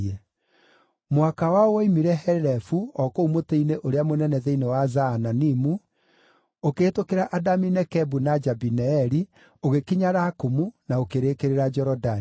Mũhaka wao woimire Helefu o kũu mũtĩ-inĩ ũrĩa mũnene thĩinĩ wa Zaananimu, ũkĩhĩtũkĩra Adami-Nekebu na Jabineeli, ũgĩkinya Lakumu, na ũkĩrĩkĩrĩra Jorodani.